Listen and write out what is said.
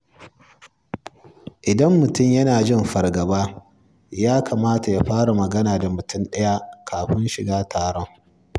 Idan mutum yana jin fargaba, ya kamata ya fara magana da mutum ɗaya kafin shiga cikin taron.